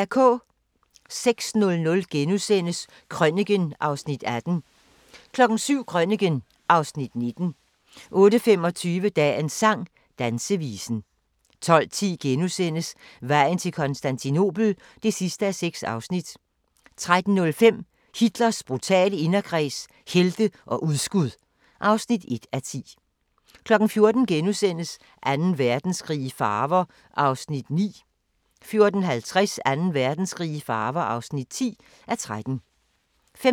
06:00: Krøniken (Afs. 18)* 07:00: Krøniken (Afs. 19) 08:25: Dagens sang: Dansevisen 12:10: Vejen til Konstantinopel (6:6)* 13:05: Hitlers brutale inderkreds – helte og udskud (1:10) 14:00: Anden Verdenskrig i farver (9:13)* 14:50: Anden Verdenskrig i farver (10:13) 15:40: